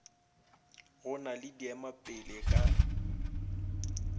go na le diemapele ka